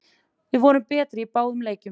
Við vorum betri í báðum leikjunum